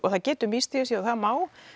það getur misstigið sig það má